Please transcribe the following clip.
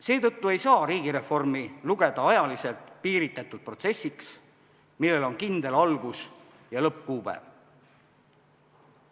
Seetõttu ei saa riigireformi lugeda ajaliselt piiritletud protsessiks, millel on kindel algus- ja lõppkuupäev.